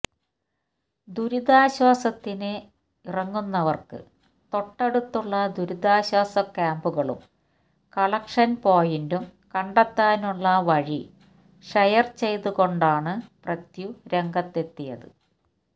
ദുരിതാശ്വാസത്തിന് ഇറങ്ങുന്നവര്ക്ക് തൊട്ടടുത്തുള്ള ദുരിതാശ്വാസ ക്യാമ്പുകളും കളക്ഷൻ പോയിന്റും കണ്ടെത്താനുള്ള വഴി ഷെയര് ചെയ്തുകൊണ്ടാണ് പൃഥി രംഗത്തെത്തിയത്